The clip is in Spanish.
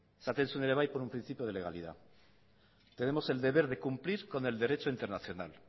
esaten zuen ere bai por un principio de legalidad tenemos el deber de cumplir con el derecho internacional